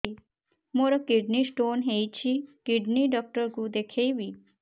ମୋର kidney stone ହେଇଛି kidney doctor କୁ ଦେଖାଇବି